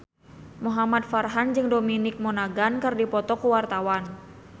Muhamad Farhan jeung Dominic Monaghan keur dipoto ku wartawan